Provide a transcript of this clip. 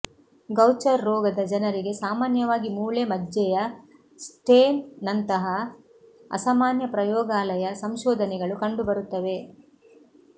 Gaucher ರೋಗದ ಜನರಿಗೆ ಸಾಮಾನ್ಯವಾಗಿ ಮೂಳೆ ಮಜ್ಜೆಯ ಸ್ಟೇನ್ ನಂತಹ ಅಸಾಮಾನ್ಯ ಪ್ರಯೋಗಾಲಯ ಸಂಶೋಧನೆಗಳು ಕಂಡುಬರುತ್ತವೆ